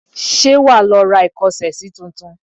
Ṣé wàá lọ ra ìkọ́ṣẹsí tuntun?